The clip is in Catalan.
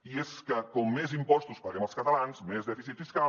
i és que com més impostos paguem els catalans més dèficit fiscal